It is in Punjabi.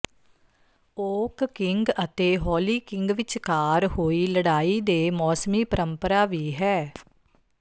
ਓਕ ਕਿੰਗ ਅਤੇ ਹੋਲੀ ਕਿੰਗ ਵਿਚਕਾਰ ਹੋਈ ਲੜਾਈ ਦੇ ਮੌਸਮੀ ਪਰੰਪਰਾ ਵੀ ਹੈ